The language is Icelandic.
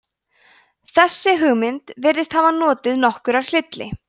þessi hugmynd virðist hafa notið nokkurrar hylli